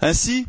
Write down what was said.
Ainsi,